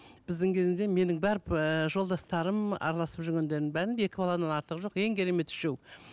біздің кезімізде менің бар ыыы жолдастарым араласып жүргендердің бәрінде екі баладан артығы жоқ ең кереметі үшеу